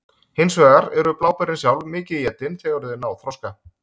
Hins vegar eru bláberin sjálf mikið étin þegar þau ná þroska.